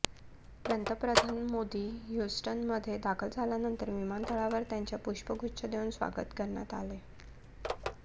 पंतप्रधान मोदी ह्यूस्टनमध्ये दाखल झाल्यानंतर विमानतळावर त्यांचं पुष्पगुच्छ देऊन स्वागत करण्यात आलं